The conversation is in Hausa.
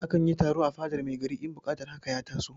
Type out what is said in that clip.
A kan yi taro a fadar mai gari in buƙatar haka ya taso.